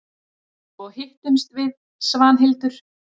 Svo hittumst við Svanhildur.